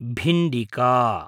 भिण्डिका